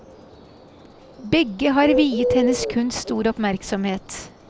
Begge har viet hennes kunst stor oppmerksomhet.